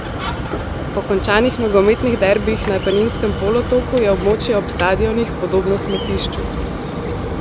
Po končanih nogometnih derbijih na Apeninskem polotoku je območje ob stadionih podobno smetišču.